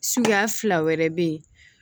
Suguya fila wɛrɛ bɛ yen